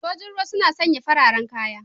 Sojin ruwa suna sanya fararen kaya.